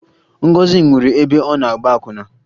Ngọzị nwụrụ ebe ọ na-agba akwụna